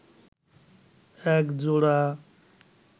এক জোড়া